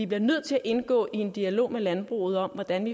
bliver nødt til at indgå i en dialog med landbruget om hvordan